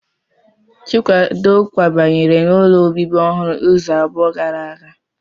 Chikwado kwabanyere n'ụlọ obibi ọhụrụ izu abụọ gara aga